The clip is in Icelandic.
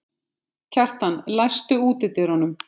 Kjartan, læstu útidyrunum.